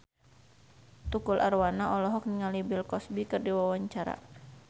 Tukul Arwana olohok ningali Bill Cosby keur diwawancara